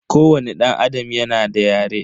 Kowani danAdam yana da yare.